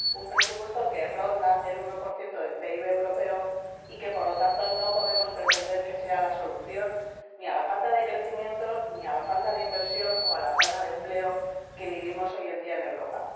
un presupuesto que ronda el 1 del PIB europeo y que, por lo tanto, no podemos pretender que sea la solución ni a la falta de crecimiento ni a la falta de inversión ni a la falta de empleo que experimentamos hoy en día en Europa.